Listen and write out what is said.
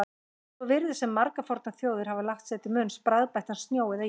Svo virðist sem margar fornar þjóðir hafi lagt sér til munns bragðbættan snjó eða ís.